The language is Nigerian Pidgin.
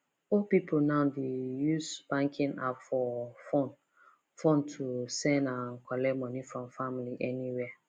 old people now dey use banking app for phone phone to send and collect money from family anywhere